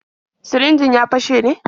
Sirinjin ya fashe ne?